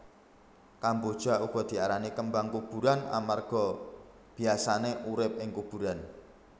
Kamboja uga diarani kembang kuburan amarga biyasané urip ing kuburan